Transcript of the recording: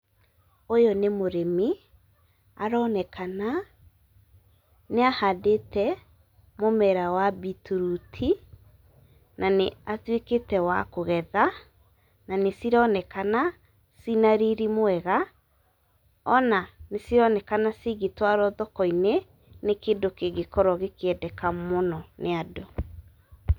Ũyũ nĩ mũrĩmi aronekana nĩahandĩte mũmera wa beetroot , na nĩatuĩkĩte wa kũgetha na nĩcironekana cina riri mwega, ona nĩcironekana cingĩtwarwo thoko-inĩ nĩ kĩndũ kĩngĩkorwo gĩkĩendeka mũno nĩ andũ.